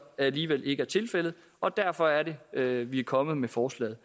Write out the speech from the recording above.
alligevel ikke været tilfældet og derfor er det at vi er kommet med forslaget